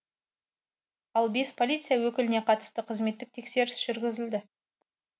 ал бес полиция өкіліне қатысты қызметтік тексеріс жүргізілді